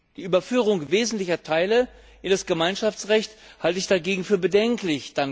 Die Überführung wesentlicher Teile in das Gemeinschaftsrecht halte ich dagegen für bedenklich.